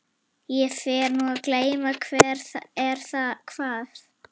Ég fer nú að gleyma hver er hvað.